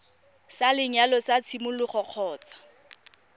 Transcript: sa lenyalo sa tshimologo kgotsa